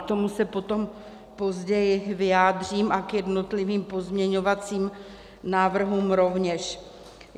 K tomu se potom později vyjádřím a k jednotlivým pozměňovacím návrhům rovněž.